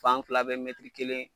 Fan fila bɛɛ kelen ye.